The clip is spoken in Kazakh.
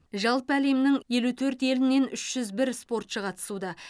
жалпы әлемнің елу төрт елінен үш жүз бір спортшы қатысуда